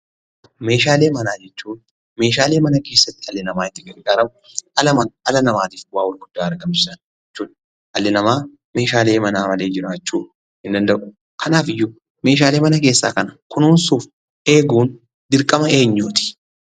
Meeshaalee manaa jechuun meeshaale mana keessatti dhalli namaa itti gargaaramudha. Dhala namaatiifis bu'aa guddaa argamsiisanidha. Dhalli namaa meeshaalee manaa malee jiraachuu hin danda'u. Kanaafuu, meeshaalee mana keessaa kana kunuunsuu fi eeguun dirqama eenyuuti?